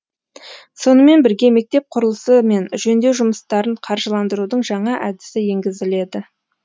сонымен бірге мектеп құрылысы мен жөндеу жұмыстарын қаржыландырудың жаңа әдісі енгізіледі